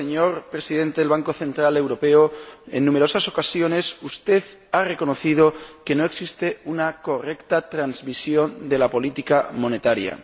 señor Presidente del Banco Central Europeo, en numerosas ocasiones usted ha reconocido que no existe una correcta transmisión de la política monetaria.